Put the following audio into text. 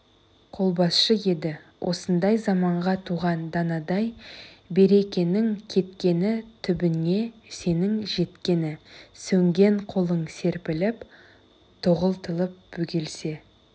қолбасшы еді осындай заманға туған данадай берекенің кеткені түбіңе сенің жеткені сөнген қолың серпіліп тоғытылып бөгелсе